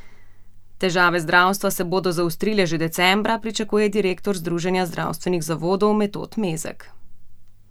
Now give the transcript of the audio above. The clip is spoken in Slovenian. Težave zdravstva se bodo zaostrile že decembra, pričakuje direktor Združenja zdravstvenih zavodov Metod Mezek.